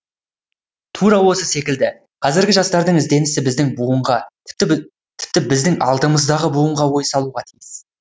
тура осы секілді қазіргі жастардың ізденісі біздің буынға тіпті біздің алдымыздағы буынға ой салуға тиіс